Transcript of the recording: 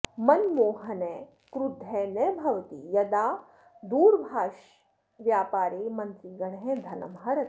मनमोहनः क्रुद्धः न भवति यदा दूरभाषव्यापारे मन्त्रिगणः धनं हरति